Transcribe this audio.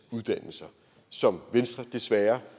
uddannelser som venstre desværre